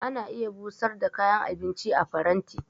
Ana iya busar da kayan abinci a faranti.